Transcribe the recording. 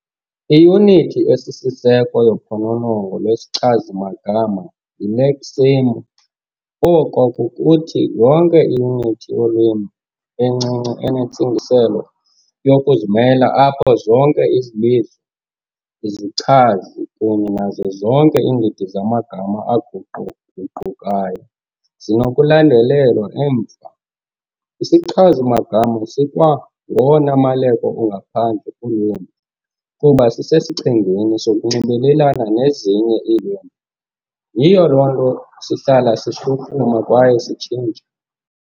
Iyunithi esisiseko yophononongo lwesichazi-magama yileksemu, oko kukuthi, yonke iyunithi yolwimi encinci enentsingiselo yokuzimela apho zonke izibizo, izichazi kunye nazo zonke iindidi zamagama aguquguqukayo zinokulandelelwa emva. Isichazi-magama sikwangowona maleko ungaphandle kulwimi kuba sisesichengeni sokunxibelelana nezinye iilwimi, yiyo loo nto sihlala sishukuma kwaye sitshintsha.